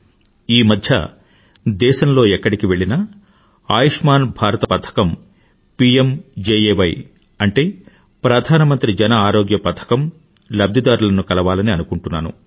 ఈమధ్య దేశంలో ఎక్కడికి వెళ్ళినా ఆయుష్మాన్ భారత్ పథకం పీఎంజేఏవై అంటే ప్రధానమంత్రి జన ఆరోగ్య పథకం లబ్ధిదారులను కలవాలని అనుకుంటున్నాను